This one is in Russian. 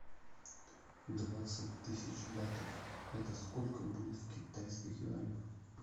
двадцать тысяч батов это сколько будет в китайских юанях